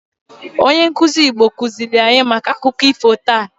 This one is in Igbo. Maazi Igbo kuzili anyi maka akụkọ ifo taa.